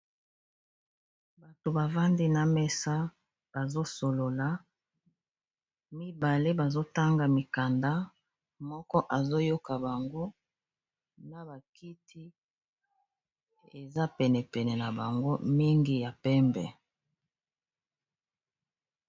Bato bavandi na mesa bazosolola mibale bazotanga mikanda moko azoyoka bango na bakiti eza penepene na bango mingi ya pembe.